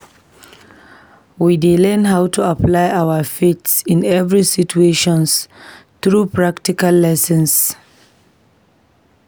We dey learn how to apply our faith in everyday situations through practical lessons.